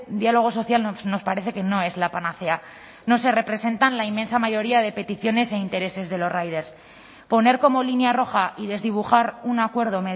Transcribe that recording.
diálogo social nos parece que no es la panacea no se representan la inmensa mayoría de peticiones e intereses de los riders poner como línea roja y desdibujar un acuerdo